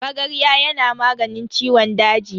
Magarya yana maganin ciwon daji.